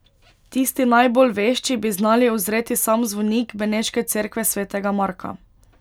Tisti najbolj vešči bi znali uzreti sam zvonik beneške cerkve svetega Marka.